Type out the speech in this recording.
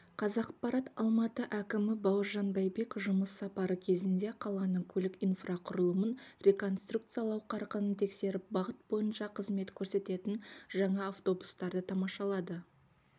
қазақпарат алматы әкімі бауыржан байбек жұмыс сапары кезінде қаланың көлік инфрақұрылымын реконструкциялау қарқынын тексеріп бағыт бойынша қызмет көрсететін жаңа автобустарды тамашалады